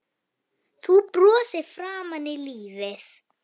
Þú brostir framan í lífið.